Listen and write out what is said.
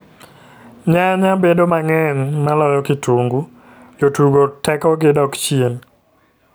Nyanya bedo mang'eny maloyo kitungu, jotugo teko gi dok chien .